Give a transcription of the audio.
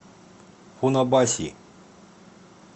фунабаси